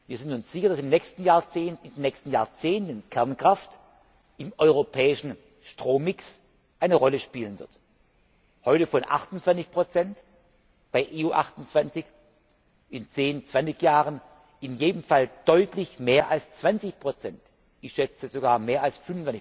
Wir sind uns sicher, dass im nächsten Jahrzehnt, in den nächsten Jahrzehnten, Kernkraft im europäischen Strommix eine Rolle spielen wird heute von 28 in den EU 28, in zehn, zwanzig Jahren in jedem Fall deutlich mehr als 20 ich schätze sogar mehr als